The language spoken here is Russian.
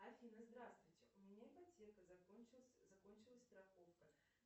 афина здравствуйте у меня ипотека закончилась страховка